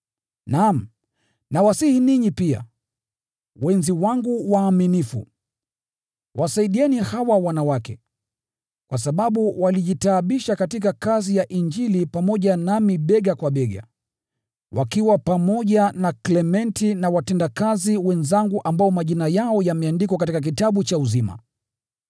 Naam, nakusihi wewe pia, mwenzangu mwaminifu, uwasaidie hawa wanawake, kwa sababu walijitaabisha katika kazi ya Injili pamoja nami bega kwa bega, wakiwa pamoja na Klementi na watendakazi wenzangu ambao majina yao yameandikwa katika kitabu cha uzima.